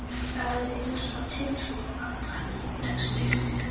Það er einsog tilfinning pabba leggist yfir mig.